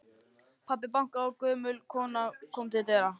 Pabbi bankaði og gömul kona kom til dyra.